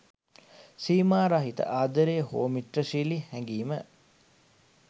සීමා රහිත ආදරය හෝ මිත්‍රශීලී හැඟීම